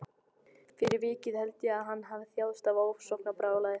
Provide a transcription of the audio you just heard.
Fyrir vikið held ég að hann hafi þjáðst af ofsóknarbrjálæði.